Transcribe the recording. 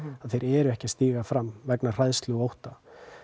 þeir eru ekki að stíga fram vegna hræðslu og ótta